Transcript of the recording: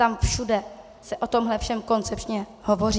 Tam všude se o tomhle všem koncepčně hovoří.